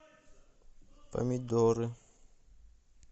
помидоры